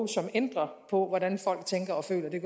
som ændrer på hvordan folk tænker og føler det